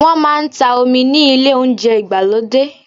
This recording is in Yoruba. Wọ́n máa ń ta omi ni ilé Ohunjẹ́ ìgbàlódé